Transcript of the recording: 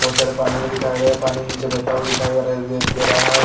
बोहोत सर पनि म दिखाई दे रहा है पनि निचे बेहटा हुवा दिखाई दे रहे हा ।